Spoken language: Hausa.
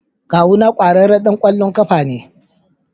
Kawuna kwararren dan kwallon kafa ne.